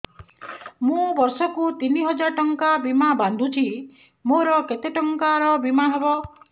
ମୁ ବର୍ଷ କୁ ତିନି ହଜାର ଟଙ୍କା ବୀମା ବାନ୍ଧୁଛି ମୋର କେତେ ଟଙ୍କାର ବୀମା ହବ